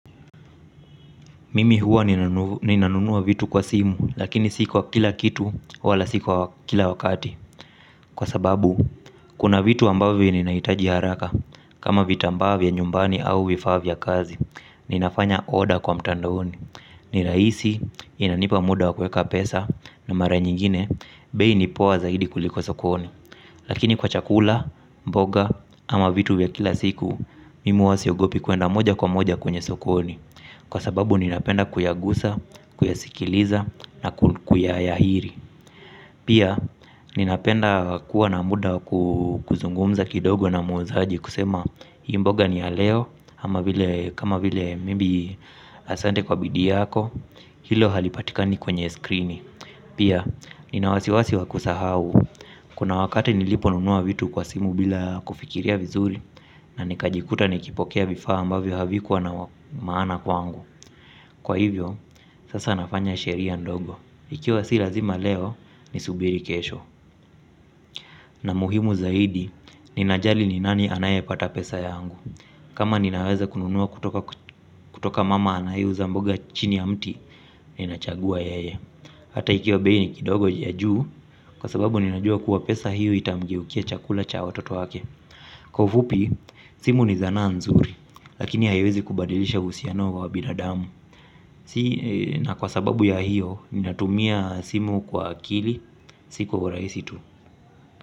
Mimi huwa ninanunua vitu kwa simu lakini si kwa kila kitu wala si kwa kila wakati. Kwa sababu kuna vitu ambavyo ninahitaji haraka. Kama vitambaa vya nyumbani au vifaa vya kazi. Ninafanya order kwa mtandaoni. Ni rahisi inanipa muda wa kueka pesa na mara nyingine bei ni poa zaidi kuliko sokoni. Lakini kwa chakula, mboga ama vitu vya kila siku mimi huwa siogopi kuenda moja kwa moja kwenye sokoni kwa sababu ninapenda kuyagusa kuyasikiliza na kuyayahiri. Pia ninapenda kuwa na muda kuzungumza kidogo na muuzaji kusema hii mboga ni ya leo ama vile kama vile maybe asante kwa bidii yako. Hilo halipatikani kwenye screen. Pia nina wasiwasi wa kusahau. Kuna wakati niliponunua vitu kwa simu bila kufikiria vizuri na nikajikuta nikipokea vifaa ambavyo havikuwa na maana kwangu. Kwa hivyo, sasa nafanya sheria ndogo. Ikiwa si lazima leo, nisubiri kesho na muhimu zaidi, ninajali ni nani anayepata pesa yangu. Kama ninaweza kununua kutoka kutoka mama anayeuza mboga chini ya mti ninachagua yeye hata kama bei ikiwa kidogo ya juu kwa sababu ninajua kuwa pesa hiyo itamgeukia chakula cha watoto wake. Kwa ufupi simu ni sanaa mzuri lakini haiwezi kubadilisha uhusiano wa binadamu. Si na kwa sababu ya hiyo. Ninatumia simu kwa akili. Si kwa urahisi tu.